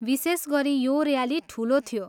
विशेष गरी यो ऱ्याली ठुलो थियो।